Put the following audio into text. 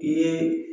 I ye